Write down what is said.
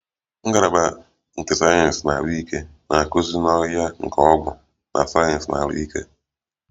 Ngalaba nke sayensị ahụike na-akụzi n'ọhịa nke ọgwụ na sayensị ahụike